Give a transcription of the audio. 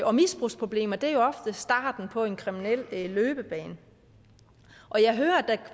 og misbrugsproblemer er jo ofte starten på en kriminel løbebane jeg hører at der